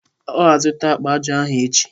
Ọ azụta akpa aja ahụ echi.